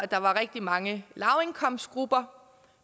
der var rigtig mange lavindkomstgrupper